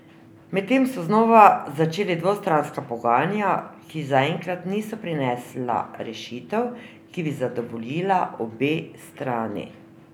Medtem so znova začeli dvostranska pogajanja, ki zaenkrat niso prinesla rešitev, ki bi zadovoljila obe strani.